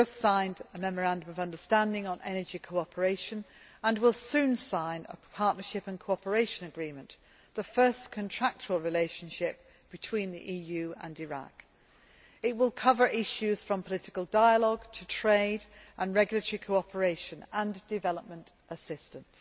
We have just signed a Memorandum of Understanding on Energy Cooperation, and we will soon sign a partnership and cooperation agreement, the first contractual relationship between the EU and Iraq. It will cover issues from political dialogue to trade and regulatory cooperation and development assistance.